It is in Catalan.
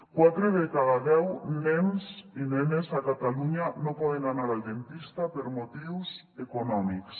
quatre de cada deu nens i nenes a catalunya no poden anar al dentista per motius econòmics